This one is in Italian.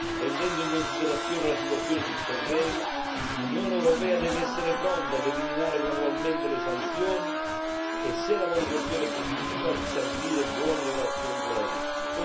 Prendendo in considerazione la situazione sul terreno, l'Unione europea deve essere pronta ad eliminare gradualmente le sanzioni e, se la valutazione è positiva, ristabilire buone relazioni con la Russia.